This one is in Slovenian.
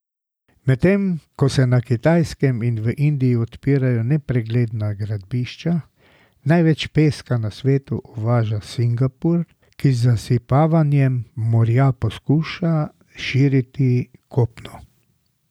Medtem ko se na Kitajskem in v Indiji odpirajo nepregledna gradbišča, največ peska na svetu uvaža Singapur, ki z zasipavanjem morja poskuša širiti kopno.